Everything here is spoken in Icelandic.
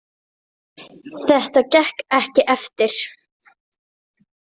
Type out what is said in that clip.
Þetta gekk ekki eftir.